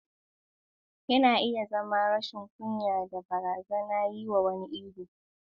Yana iya zama rashin kunya da barazanar yi wa wani ihu.